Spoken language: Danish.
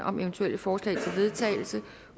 om eventuelle forslag til vedtagelse